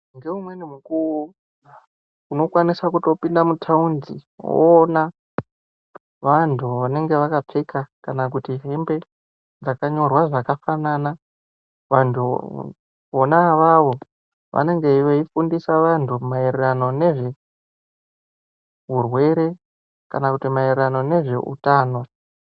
Ngeumweni mukuwo unokwanisa kutopinda mutaundi woona vantu vanenga vakapfeka kana kuti hembe dzakanyorwa zvakafanana vantuuu vona avavo vanenge veidzidzisa vantu maererano nezveurwere kana kuti maererano nezveutano.